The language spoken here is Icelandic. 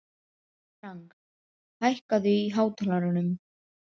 Frank, hækkaðu í hátalaranum.